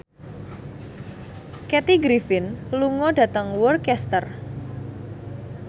Kathy Griffin lunga dhateng Worcester